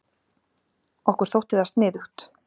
Okkur þótti það sniðugt.